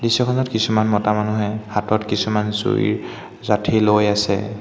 দৃশ্যখনত কিছুমান মতা মানুহে হাতত কিছুমান জুইৰ জাঁঠি লৈ আছে।